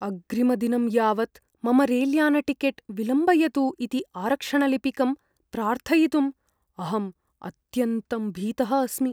अग्रिमदिनं यावत् मम रैल्यानटिकेट् विलम्बयतु इति आरक्षणलिपिकं प्रार्थयितुं अहं अत्यन्तं भीतः अस्मि।